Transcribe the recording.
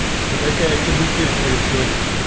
и такая канитель происходит